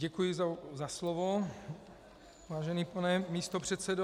Děkuji za slovo, vážený pane místopředsedo.